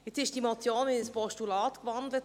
Nun wurde diese Motion in ein Postulat gewandelt;